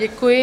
Děkuji.